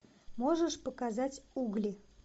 можешь показать угли